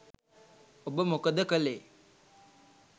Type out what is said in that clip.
ඔබ මොකද කළේ?